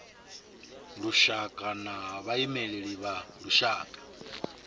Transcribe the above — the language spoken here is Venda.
lushaka na vhaimeleli vha lushaka